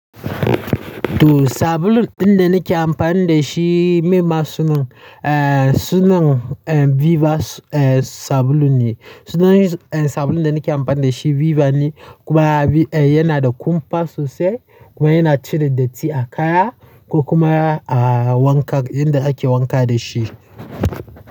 To sabulun ɗin da nake amfani da shi, meyema sunan? Eh, sunan eh Viva eh sabulun ne. Sunan sabulun da nake amfani da shi Viva ne kuma yana da kumfa sosai kuma yana cire datti a kaya ko kuma a wanka inda ake wanka dashi.